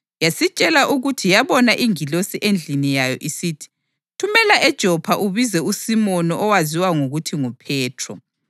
Yasitshela ukuthi yabona ingilosi endlini yayo isithi, ‘Thumela eJopha ubize uSimoni owaziwa ngokuthi nguPhethro.